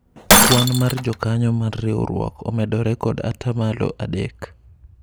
kwan mar jokanyo mar riwruok omedore kod atamalo adek